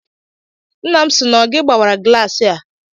Nna m si na ọ gị gbawara glaasị a